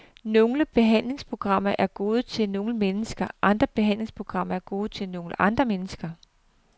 Nogle behandlingsprogrammer er gode til nogle mennesker, andre behandlingsprogrammer er gode til nogle andre mennesker.